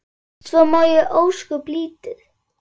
Svo man ég ósköp lítið.